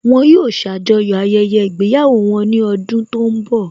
Wọn yóò ṣàjọyọ̀ ayẹyẹ ìgbéyàwó wọn ní ọdún tó ń bọ̀